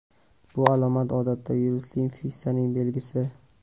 Bu alomat odatda virusli infeksiyaning belgisi.